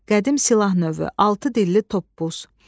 qədim silah növü, altı dilli toppuz.